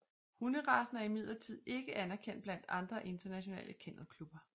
Hunderacen er imidlertid ikke anerkendt blandt andre internationale kennelklubber